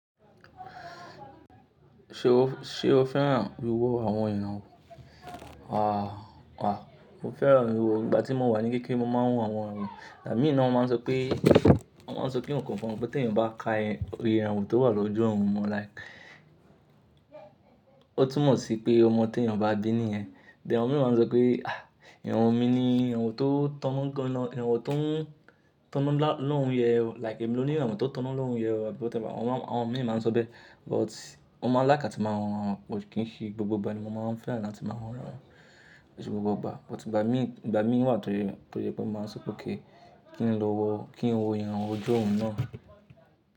Ṣé o fẹ́ràn wíwo àwọn ìranwọ́? À a mo fẹ́ràn wíwo ìgbà tí mo wà ní kékeré mo máa ń wo àwọn àwọn. Ìgbà mí nà wọn máa ń sọ pé, wọ́n máa ń sọ pé nǹkan kan pé tí èèyàn bá ka iye ìranwọ́ tó wà lójú ọ̀run mọ́ like ó tún mọ̀ sí pé ọmọ tí èèyàn bá bí nìyẹn. Then àwọn mìíràn máa ń sọ pé àh ìranwọ́ mi ni ìranwọ́ tó tán mọ́ lọ, ìranwọ́ tó ń tán lọ́hùn yẹn o like èmi lóní ìranwọ́ tó tán lọ́hùn yẹn o or whatever. Wọn máa, àwọn mìíràn máa ń sọ bẹ́ẹ̀. But mo máa ń like atí màá ń wo àwọn irawo kì í ṣe gbogbo ìgbà ni mo máa ń fẹ́ràn láti máa wo àwọn irawo, kì í ṣe gbogbo ìgbà. But ìgbà mí, ìgbà mí ń wà tó jẹ́ pé màá sọ pé kí n lọ wo kí n wo ìranwọ́ ojú ọ̀run náà.